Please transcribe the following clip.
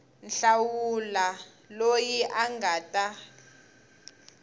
hlawula loyi a nga ta